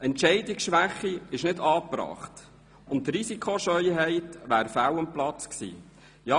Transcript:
Entscheidungsschwäche war nicht angebracht und Risikoscheu wäre fehl am Platz gewesen.